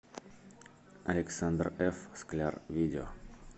александр ф скляр видео